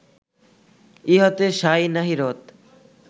ইহাতে সাঁই নাহি রত